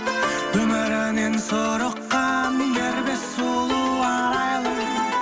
өмірінен сұрыққан дербес сұлу арайлым